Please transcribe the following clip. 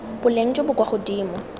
boleng jo bo kwa godimo